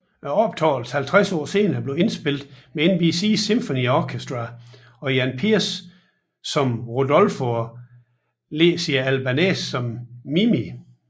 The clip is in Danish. Optagelsen 50 år senere blev indspillet med NBC Symphony Orchestra og Jan Peerce som Rodolfo og Licia Albanese som Mimì